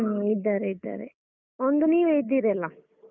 ಹ್ಮ ಇದ್ದಾರೇ ಇದ್ದಾರೆ ಒಂದು ನೀವೇ ಇದ್ದಿರಲ್ಲ.